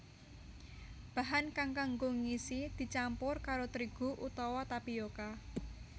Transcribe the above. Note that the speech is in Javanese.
Bahan kang kanggo ngisi dicampur karo trigu utawa tapioka